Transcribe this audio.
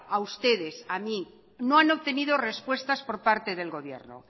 a ustedes a mí no han obtenido respuestas por parte del gobierno